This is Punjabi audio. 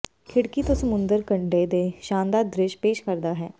ਖਿੜਕੀ ਤੋਂ ਸਮੁੰਦਰ ਕੰਢੇ ਦੇ ਸ਼ਾਨਦਾਰ ਦ੍ਰਿਸ਼ ਪੇਸ਼ ਕਰਦਾ ਹੈ